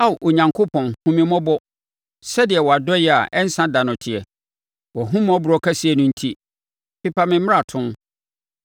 Ao Onyankopɔn hunu me mmɔbɔ, sɛdeɛ wʼadɔeɛ a ɛnsa da no teɛ; wʼahummɔborɔ kɛseɛ no enti, pepa me mmarato.